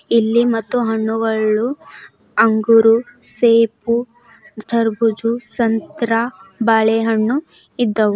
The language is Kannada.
ಇಲ್ಲಿ ಮತ್ತು ಹಣ್ಣುಗಳು ಅಂಗೂರು ಸೇಬು ಕರ್ಬೂಜು ಸಂತ್ರ ಬಾಳೆಹಣ್ಣು ಇದ್ದವು.